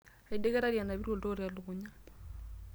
Aideketari anapita oltoo telukunya.